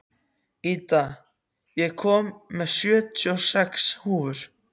Ída, ég kom með sjötíu og sex húfur!